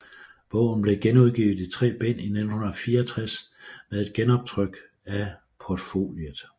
Bogen blev genudgivet i tre bind i 1964 med et genoptryk af portfoliet